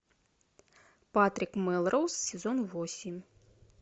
патрик мелроуз сезон восемь